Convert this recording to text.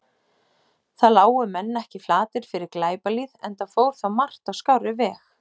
Þá lágu menn ekki flatir fyrir glæpalýð, enda fór þá margt á skárri veg.